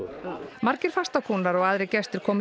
margir fastakúnnar og aðrir gestir komu